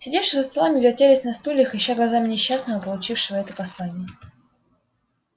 сидевшие за столами вертелись на стульях ища глазами несчастного получившего это послание